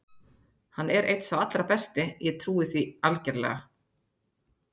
Hann er einn sá allra besti, ég trúi því algerlega.